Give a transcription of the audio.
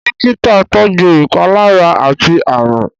Dọ́kítà tọjú ìpalára àti àrùn.